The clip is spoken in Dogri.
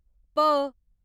भ